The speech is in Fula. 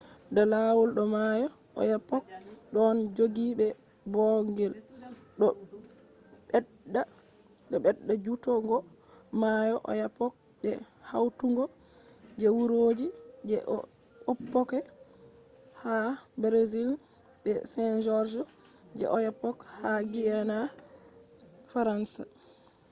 da lawol do mayo oyapock ɗon joggi be ɓoogl. ɗo ɓedda jutugo mayo oyapock be hautugo je wuroji je oiapoque ha brazil be saint-georges je oyapock ha guiana faransa